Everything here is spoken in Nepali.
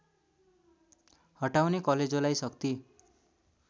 हटाउने कलेजोलाई शक्ति